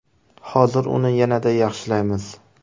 Hozir uni yanada yaxshilaymiz!